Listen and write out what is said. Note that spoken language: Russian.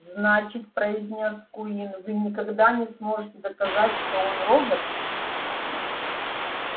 значит произнёс куинн вы никогда не сможете доказать что он робот